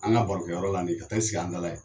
An ka barokɛ yɔrɔ la nin ka t'a i sigi an da la yen.